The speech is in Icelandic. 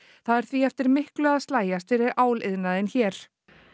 það er því eftir miklu að slægjast fyrir áliðnaðinn hér